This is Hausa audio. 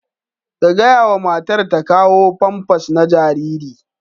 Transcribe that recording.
Ka gaya wa matar ta kawo famfas na jariri.